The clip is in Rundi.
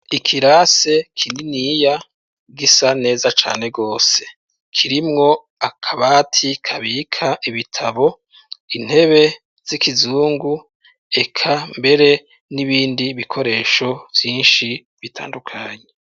Ikirasi kininiya gisa neza cane gose. Kirimwo akabati kabika ibitabo, intebe z'ikizungu, eka mbere n'ibindi bikoresho vyinshi bitandukanye.